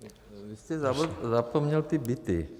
Vy jste zapomněl ty byty.